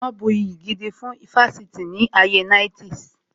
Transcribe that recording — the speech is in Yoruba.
Wọn bu iyì gidi fún ifásitì ní ayé 90's